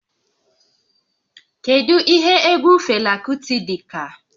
Kedu ihe egwu Fela Kuti dị ka?